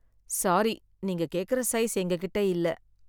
Sorry, நீங்க கேக்குற size எங்ககிட்ட இல்லை.